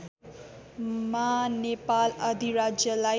मा नेपाल अधिराज्यलाई